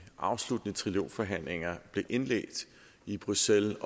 afsluttende trilogforhandlinger om blev indledt i bruxelles